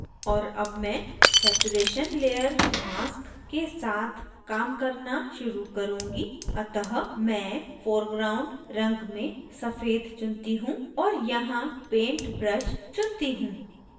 और अब मैं saturation layer mask के साथ काम करना शुरू करुँगी अतः मैं foreground रंग में सफ़ेद चुनती हूँ और यहाँ पेंट ब्रश चुनती हूँ